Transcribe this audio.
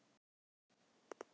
Þau tóku tal saman.